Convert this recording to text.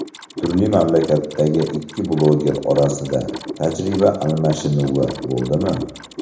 Turli mamlakatlardagi ikki blogger orasida tajriba almashinuvi bo‘ldimi?